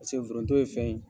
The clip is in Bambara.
Paseke foronto ye fɛn ye